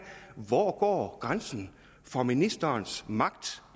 hvor går grænsen for ministerens magt